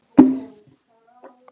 Þau eiga sér upphaf og endi.